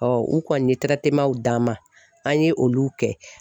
u kɔni ye d'an ma an ye olu kɛ.